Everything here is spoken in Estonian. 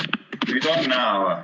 Nüüd on näha või?